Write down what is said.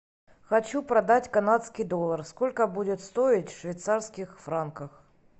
хочу продать канадский доллар сколько будет стоить в швейцарских франках